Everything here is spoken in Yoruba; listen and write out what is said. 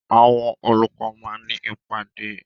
Àwọn olùkọ́ máa ní ìpàdé.